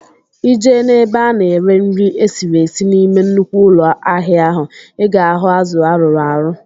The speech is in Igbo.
Ị jee n'ebe a ná-ere nri esiri esi n'ime nnukwu ụlọ ahịa ahụ, I ga ahụ azụ arụrụ arụ